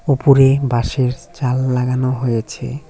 ওপরে বাঁশের জাল লাগানো হয়েছে।